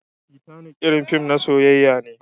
Titanic irin fim na soyyaya ne.